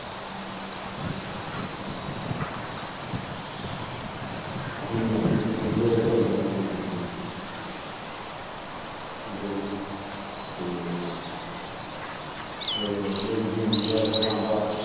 ਆਪਣੀ ਮਸਤੀ ਚ enjoy ਕਰੀ ਦਾ ਲਾਈਫ ਨੂੰ ਠੀਕ ਆ ਜੀ ਤੇ ਮੇਰੀ ਜਿੰਦਗੀ ਦਾ ਇਸ ਤਰਾਂ ਦਾ